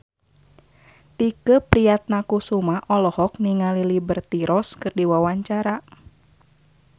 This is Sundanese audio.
Tike Priatnakusuma olohok ningali Liberty Ross keur diwawancara